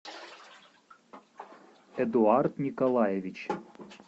эдуард николаевич